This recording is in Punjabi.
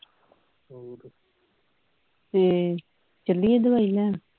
ਹੂ ਚਲੀਏ ਦਵਾਈ ਲੈਣ